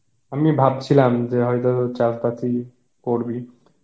আমি ভাবছিলাম যে হয়েত চাস বাস এ করবি